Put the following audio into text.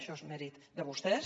això és mèrit de vostès